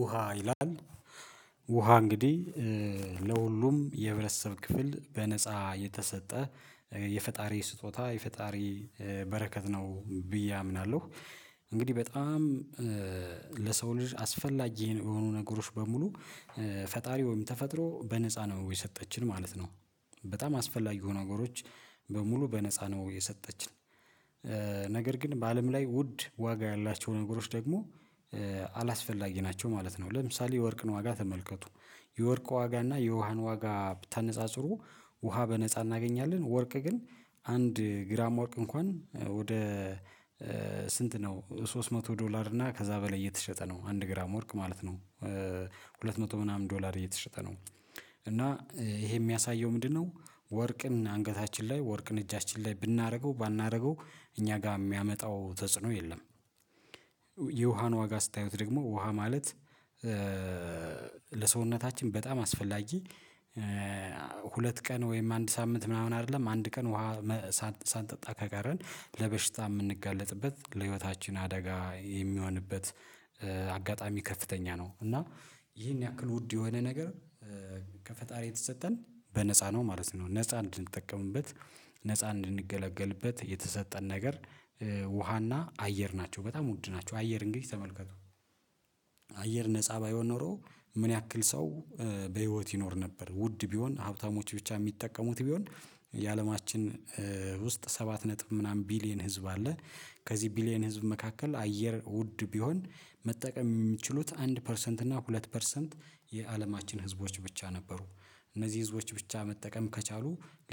ውሃ ይላል ውሃ እንግዲህ ለሁሉም የህብረተሰብ ክፍል በነፃ የተሰጠ የፈጣሪ ስጦታ የፈጣሪ በረከት ነው ብዬ አምናለሁ። እንግዲህ በጣም ለሰው ልጅ አስፈላጊ የሆኑ ነገሮች በሙሉ ፈጣሪ ወይም ተፈጥሮ በነፃ ነው የሰጠችን ማለት ነው። በጣም አስፈላጊው ነገሮች በሙሉ በነፃ ነው የሰጠችን። ነገር ግን በአለም ላይ ውድ ዋጋ ያላቸው ነገሮች ደግሞ አላስፈላጊ ናቸው ማለት ነው። ለምሳሌ የወርቅን ዋጋ ተመልከቱ የወርቅ ዋጋ እና የውሃን ዋጋ ብታነጻጽሩ። ውሃ በነጻ እናገኛለን ወርቅ ግን አንድ ግራም ወርቅ እንኳን ወደ ስንት ነው ሶስት መቶ ዶላር እና ከዛ በላይ እየተሸጠ ነው አንድ ግራም ወርቅ ማለት ነው ሁለት መቶ ምናምን ዶላር እየተሸጠ ነው እና ይሄ የሚያሳየው ምንድነው? ወርቅን አንገታችን ላይ ወርቅን እጃችን ላይ ብናደርገው ባናደርገው እኛ ጋር የሚያመጣው ተጽዕኖ የለም። የውሃን ዋጋ ስታዩት ደግሞ ውሃ ማለት ለሰውነታችን በጣም አስፈላጊ ሁለት ቀን ወይም አንድ ሳምንት ምናምን አይደለም አንድ ቀን ውሃ ሳንጠጣ ከቀረን ለበሽታ የምንጋለጥበት ለህይወታችን አደጋ የሚሆንበት አጋጣሚ ከፍተኛ ነው። እና ይሄን ያክል ውድ የሆነ ነገር ከፈጣሪ የተሰጠን በነፃ ነው ማለት ነው። ነፃ እንድንጠቀምበት ነፃ እንድንገለገልበት የተሰጠን ነገር ውሃና አየር ናቸው በጣም ውድ ናቸው። አየር እንግዲህ ተመልከቱ አየር ነፃ ባይሆን ኖሮ ምን ያክል ሰው በህይወት ይኖር ነበር ውድ ቢሆን ሀብታሞች ብቻ የሚጠቀሙት ቢሆን የአለማችን ውስጥ ሰባት ነጥብ ምናምን ቢሊየን ህዝብ አለ። ከዚህ ቢሊየን ህዝብ መካከል አየር ውድ ቢሆን መጠቀም የሚችሉት አንድ ፐርሰንት እና ሁለት ፐርሰንት የአለማችን ህዝቦች ብቻ ነበሩ እነዚህ ህዝቦች ብቻ መጠቀም ከቻሉ